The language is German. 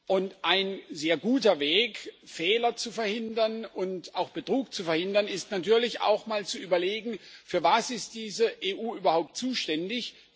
Und ein sehr guter Weg, Fehler zu verhindern und auch Betrug zu verhindern, ist natürlich, auch einmal zu überlegen Wofür ist diese EU überhaupt zuständig?